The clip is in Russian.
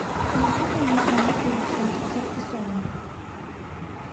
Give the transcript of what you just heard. никитой магомедовичем саркисовым